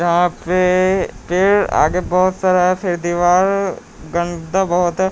यहां पे पेड़आगे बहुत सारा फिर दिवार गंदा बहुत है।